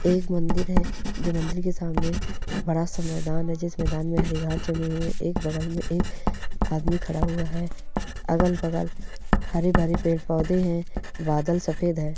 यह एक मंदिर है जो मंदिर के सामने बड़ा सा मैदान है जिसमें मैदान में हरी घाँस जमी हुई है एक बगल में एक आदमी खड़ा हुआ है अगर अगल-बगल हरे भरे पेड़ पौधे हैं बादल सफेद है।